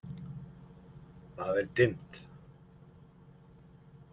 Það er dimmt.